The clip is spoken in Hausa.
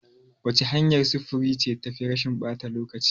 Wace hanyar sufuri ce tafi rashin ɓata lokaci?